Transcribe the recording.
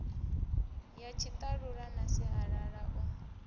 ya tshiṱalula na sialala u